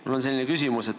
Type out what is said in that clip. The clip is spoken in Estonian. Mul on selline küsimus.